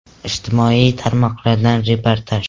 Ijtimoiy tarmoqlardan reportaj.